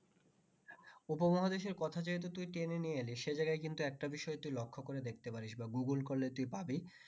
উপমহাদেশের কথা তুই যেহুতু টেনে নিয়ে এলি সে জায়গায় কিন্তু তুই একটা বিষয় তুই লক্ষ করে দেখতে পারিস বা google করলে তুই পাবি